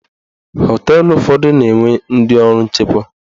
Họteelụ ụfọdụ na-enwe ndị ọrụ nchekwa.